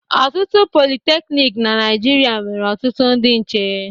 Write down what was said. Ọtụtụ politeknik na Naịjirịa nwere ọtụtụ ndị nche.